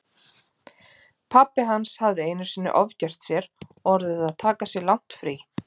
Pabbi hans hafði einu sinni ofgert sér og orðið að taka sér langt frí.